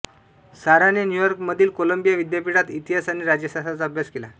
साराने न्यूयॉर्कमधील कोलंबिया विद्यापीठात इतिहास आणि राज्यशास्त्राचा अभ्यास केला